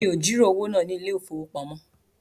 Mi ò jìrọ̀ owó náà ní ilé ìfowópamọ́